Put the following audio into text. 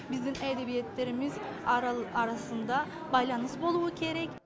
біздің әдебиеттеріміз арасында байланыс болуы керек